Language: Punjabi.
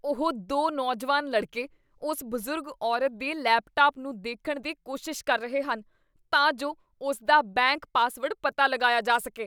ਉਹ ਦੋ ਨੌਜਵਾਨ ਲੜਕੇ ਉਸ ਬਜ਼ੁਰਗ ਔਰਤ ਦੇ ਲੈਪਟਾਪ ਨੂੰ ਦੇਖਣ ਦੀ ਕੋਸ਼ਿਸ਼ ਕਰ ਰਹੇ ਹਨ ਤਾਂ ਜੋ ਉਸਦਾ ਬੈਂਕ ਪਾਸਵਰਡ ਪਤਾ ਲਗਾਇਆ ਜਾ ਸਕੇ।